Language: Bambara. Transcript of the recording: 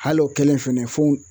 Hal' o kɛlen fɛnɛ fɛnw